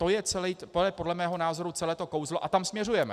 To je podle mého názoru celé to kouzlo a tam směřujeme.